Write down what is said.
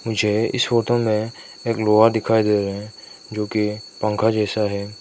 मुझे इस फोटो में एक लोहा दिखाई दे रहे है जो कि पंखा जैसा है।